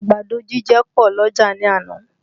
Àgbàdo jíjẹ pọ̀ l'ọ́jà ní àná